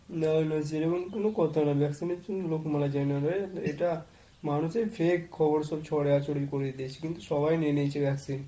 না না সেরকম কোন কথা না। vaccine এর জন্য লোক মারা যায় না রে। এটা মানুষের fake খবর সব ছড়াছড়ি করে দিয়েছে। কিন্তু সবাই নিয়ে নিয়েছে vaccine।